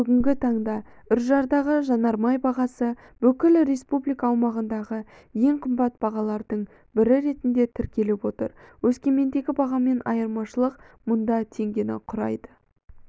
бүгінгі таңда үржардағы жанармай бағасы бүкіл республика аумағындағы ең қымбат бағалардың бірі ретінде тіркеліп отыр өскемендегі бағамен айырмашылық мұнда теңгені құрайды